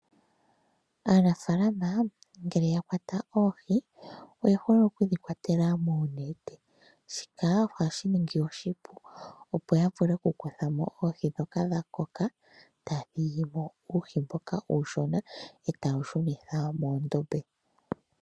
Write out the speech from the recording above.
Aanafalama ngele ya kwata oohi, oye hole okudhi kwatela moonete, shika ohashi ningi oshipu, opo ya vule oku kuthamo oohi dhoka dha koka, taya thigimo uuhi mboka uushona, etaye wu shunitha mondombe.